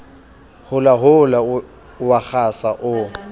holahola o a kgasa o